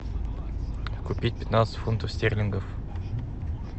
купить пятнадцать фунтов стерлингов